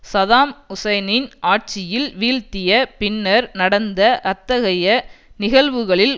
Saddam ஹுசைனின் ஆட்சியில் வீழ்த்திய பின்னர் நடந்த அத்தகைய நிகழ்வுகளில்